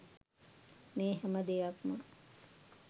මේ හැම දෙයක්ම